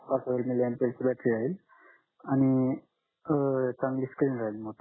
पाच हजार milli MPH ची बॅटरी आहे आणि अं चांगली स्क्रीन राहील मोठी